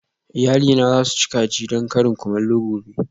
Iyalina za su ci kaji don karin kumallo gobe